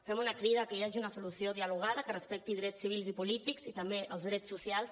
fem una crida a que hi hagi una solució dia·logada que respecti drets civils i polítics i també els drets socials